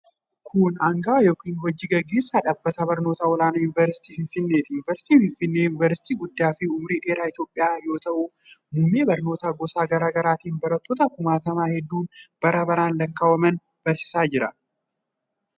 Kun aangawa yookin hoji gaggeessaa dhaabbata barnootaa olaanaa yuunivarsiitii Finfinneeti. Yuunivarsiitiin Finfinnee yuunivarsiitii guddaa fi umurii dheeraa Itoophiyaa yoo ta'u, muummee barnootaa gosa garaa garaatin barattoota kumaatama hedduun bara baraan lakkaawwaman barsiisa.